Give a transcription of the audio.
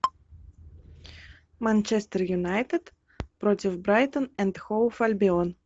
манчестер юнайтед против брайтон энд хоув альбион